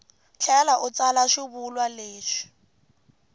tlhela u tsala xivulwa lexi